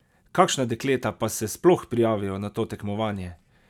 Kakšna dekleta pa se sploh prijavijo na to tekmovanje?